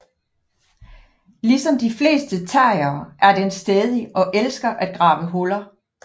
Ligesom de fleste terriere er den stædig og elsker at grave huller